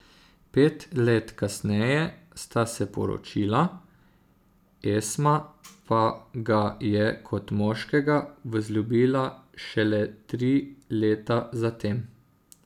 Pet let kasneje sta se poročila, Esma pa ga je kot moškega vzljubila šele tri leta zatem.